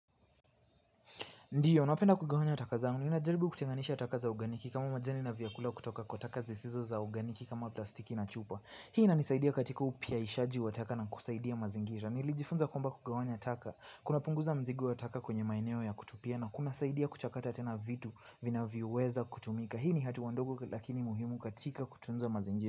Ndiyo, napenda kugawanya taka zaangu. Ni najaribu kutenganisha taka za uganiki kama majani na vyakula kutoka kwa taka zisizo za uganiki kama plastiki na chupa. Hii ina nisaidia katika upya ishaji wa taka na kusaidia mazingira. Nilijifunza kwamba kugawanya taka. Kunapunguza mizigo ya taka kwenye maeneo ya kutupia kunasaidia kuchakata tena vitu vinavyoweza kutumika hii ni hatua ndogo lakini muhimu katika kutunza mazingira.